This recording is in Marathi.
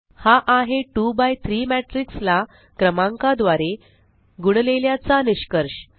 हा आहे 2 बाय 3 matrixला क्रमांका द्वारे गुणलेल्याचा निष्कर्ष